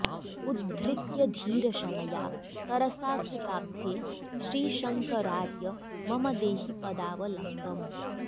उद्धृत्य धीरशनया तरसा कृपाब्धे श्रीशङ्करार्य मम देहि पदावलम्बम्